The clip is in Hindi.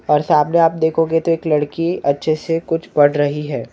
और सामने आप देखोगे तो एक लड़की अच्छे से कुछ पढ़ रही हैं।